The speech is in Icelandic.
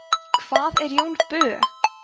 hvað er jón bö